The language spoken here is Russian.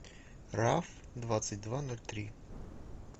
раф двадцать два ноль три